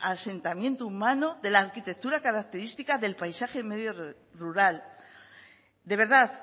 asentamiento humano de la arquitectura característica del paisaje y medio rural de verdad